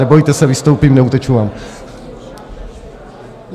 Nebojte se, vystoupím, neuteču vám.